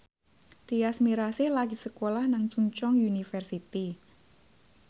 Tyas Mirasih lagi sekolah nang Chungceong University